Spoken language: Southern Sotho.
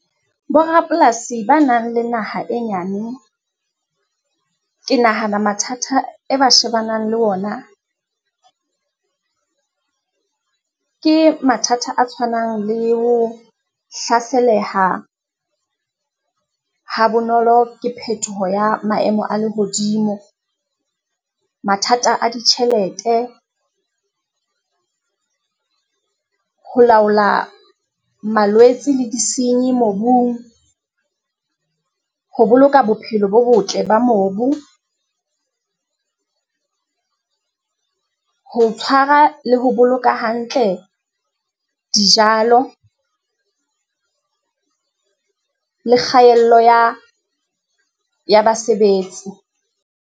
Bo rapolasi ba nang le naha e nyane, ke nahana mathata e ba shebanang le ona, ke mathata a tshwanang le ho hlaselaha ha bonolo ke phethoho ya maemo a lehodimo. Mathata a ditjhelete, ho laola malwetse le di senye mobung, ho boloka bophelo bo botle ba mobu, ho tshwara le ho boloka hantle dijalo le kgaello ya basebetsi.